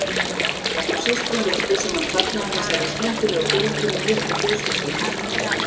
Okkur systrum virtist sem hann fagnaði þessari skyndilegu fjölgun í litlu fjölskyldunni.